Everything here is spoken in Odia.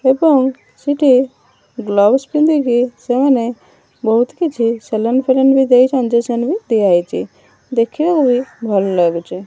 ଏବଂ ସେଠି ବ୍ଲାଉଜ୍ ପିନ୍ଧିକି ସେମାନେ ବୋହୁତ କିଛି ସେଲୁନ ଫେଲୁନ ବି ଦେଇଚନ୍ତି ବି ଦିଆ ହେଇଚି ଦେଖିବାକୁ ଭଲ ଲାଗୁଚି।